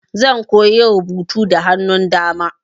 Zan koya rubutu da hannun dama.